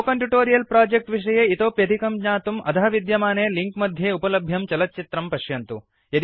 spoken tutorial project विषये इतोप्यधिकं ज्ञातुम् अधः विद्यमाने लिंक मध्ये उपलभ्यं चलच्चित्रं पश्यन्तु